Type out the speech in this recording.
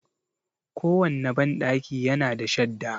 Ko wanne banɗaki ya na da shadda.